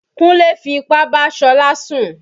Kúnlé fi ipá bá Ṣọlá sùn.